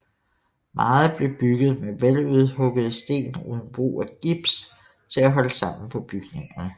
Meget blev bygget med veludhuggede sten uden brug af gips til at holde sammen på bygningerne